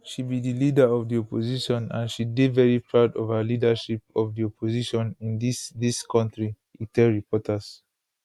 she be di leader of di opposition and she dey very proud of her leadership of di opposition in dis dis kontri e tell reporters